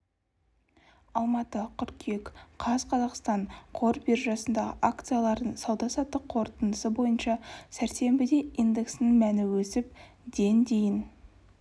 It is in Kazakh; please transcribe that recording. алматы қыркүйек қаз қазақстан қор биржасындағы акциялардың сауда-саттық қорытындысы бойынша сәрсенбіде индексінің мәні өсіп ден дейін